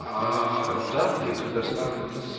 аа данные предоставлены с